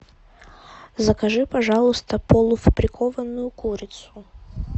закажи пожалуйста полуфабрикованную курицу